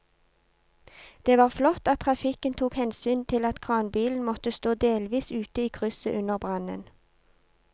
Det var flott at trafikken tok hensyn til at kranbilen måtte stå delvis ute i krysset under brannen.